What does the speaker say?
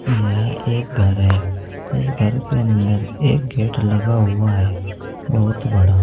यह एक घर है इस घर के अंदर एक गेट लगा हुआ है बहुत बड़ा--